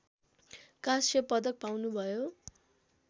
काँस्य पदक पाउनुभयो